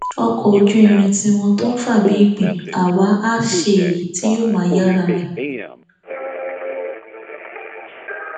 ọkọ ojú irin tiwọn tó ń fà bíi ìgbín àwa àá ṣe èyí tí yóò máa yára rìn